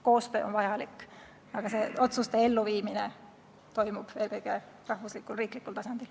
Koostöö on vajalik, aga otsuste elluviimine toimub eelkõige riiklikul tasandil.